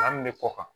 An bɛ kɔ kan